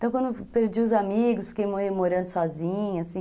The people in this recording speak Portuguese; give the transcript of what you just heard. Então, quando perdi os amigos, fiquei morando sozinha, assim.